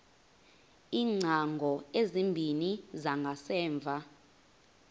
iingcango ezimbini zangasemva